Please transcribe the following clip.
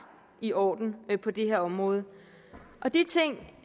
i orden på det her område de ting